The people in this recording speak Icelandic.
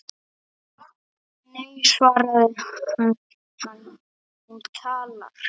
Nei svaraði hann, hún talar